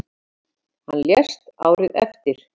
Hann lést árið eftir.